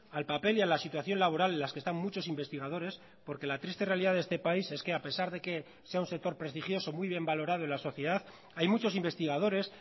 al papel y a la situación laboral en las que están muchos investigadores porque la triste realidad de este país es que a pesar de que sea un sector prestigioso muy bien valorado en la sociedad hay muchos investigadores